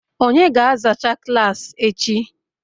onye ga-azacha klaasị echi?